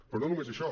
però no només això